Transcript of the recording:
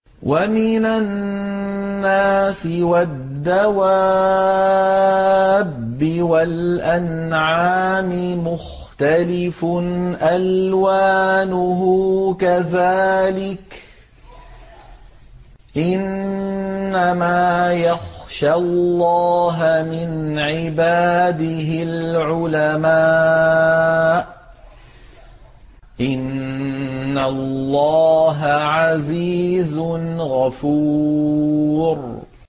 وَمِنَ النَّاسِ وَالدَّوَابِّ وَالْأَنْعَامِ مُخْتَلِفٌ أَلْوَانُهُ كَذَٰلِكَ ۗ إِنَّمَا يَخْشَى اللَّهَ مِنْ عِبَادِهِ الْعُلَمَاءُ ۗ إِنَّ اللَّهَ عَزِيزٌ غَفُورٌ